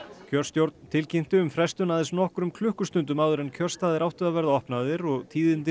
kjörstjórn tilkynnti um frestun aðeins nokkrum klukkustundum áður en kjörstaðir áttu að verða opnaðir og tíðindin